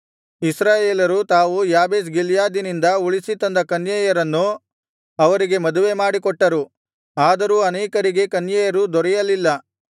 ಇಸ್ರಾಯೇಲರು ತಾವು ಯಾಬೇಷ್ ಗಿಲ್ಯಾದಿನಿಂದ ಉಳಿಸಿ ತಂದ ಕನ್ಯೆಯರನ್ನು ಅವರಿಗೆ ಮದುವೆಮಾಡಿಕೊಟ್ಟರು ಆದರೂ ಅನೇಕರಿಗೆ ಕನ್ಯೆಯರು ದೊರೆಯಲಿಲ್ಲ